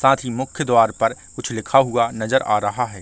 साथ ही मुख्य द्वार पर कुछ लिखा हुआ नजर आ रहा है।